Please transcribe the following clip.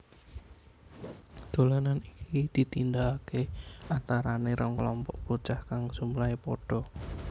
Dolanan iki ditindakakè antaranè rong kelompok bocah kang jumlahè pada